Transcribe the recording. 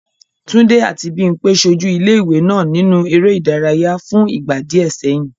Túndé àti Bímpé ṣojú ilé-ìwé náà nínú eré ìdárayá fún ìgbà díẹ̀ sẹ́yìn.